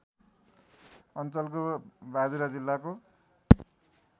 अञ्चलको बाजुरा जिल्लाको